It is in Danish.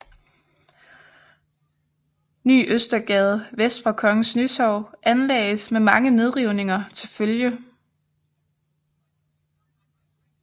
Ny Østergade vest for Kongens Nytorv anlagdes med mange nedrivninger til følge